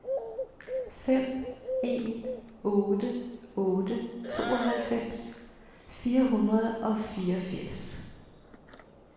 fem en otte otte tooghalvfems fire hundrede og fireogfirs